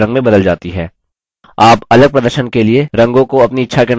आप अलग प्रदर्शन के लिए रंगों को अपनी इच्छा के अनुसार इस्तेमाल कर सकते हैं